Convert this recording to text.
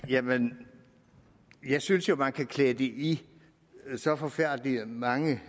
jamen jeg synes jo man kan klæde det i så forfærdelig mange